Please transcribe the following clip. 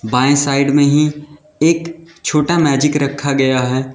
बाएं साइड में ही एक छोटा मैजिक रखा गया है।